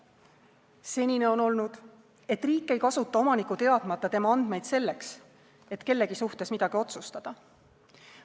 Senine on olnud, et riik ei kasuta omaniku teadmata tema andmeid selleks, et kellegi suhtes midagi otsustada.